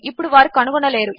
ఇప్పుడువారుకనుగొనలేరు